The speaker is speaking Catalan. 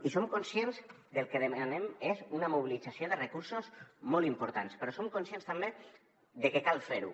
i som conscients que el que demanem és una mobilització de recursos molt important però som conscients també de que cal fer ho